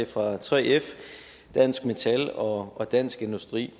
fra 3f dansk metal og og dansk industri